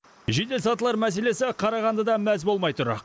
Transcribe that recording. жеделсатылар мәселесі қарағандыда мәз болмай тұр